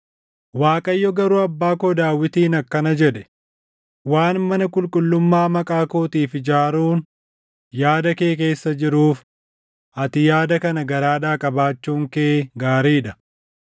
Waaqayyo garuu abbaa koo Daawitiin akkana jedhe; ‘Waan mana qulqullummaa maqaa kootiif ijaaruun yaada kee keessa jiruuf, ati yaada kana garaadhaa qabaachuun kee gaarii dha.